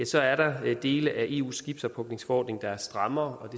så er der dele af eus skibsophugningsforordning der er strammere